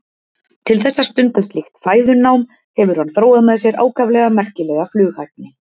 Til þess að stunda slíkt fæðunám hefur hann þróað með sér ákaflega merkilega flughæfni.